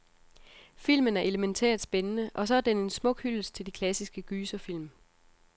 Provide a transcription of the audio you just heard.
Filmen er elemæntært spændende, og så er den en smuk hyldest til de klassiske gyserfilm.